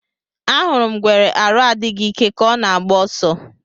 Ahụrụ m ngwere arụ adịghị ike ka ọ na agba oso